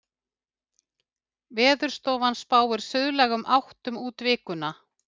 Veðurstofan spáir suðlægum áttum út vikuna